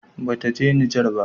Ba ta je Nijar ba